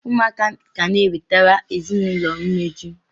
Ụmụaka ga na-ewetara ezinaụlọ mmeju.